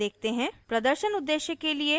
अब कुछ उदाहरण देखते हैं